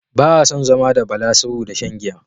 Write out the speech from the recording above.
Baa son zama da Bala saboda shan giya